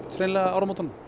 hreinlega áramótunum